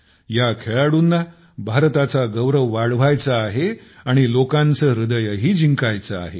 ह्या खेळाडूंना भारताचा गौरव वाढवायचा आहे आणि लोकांचे हृदयही जिंकायचे आहे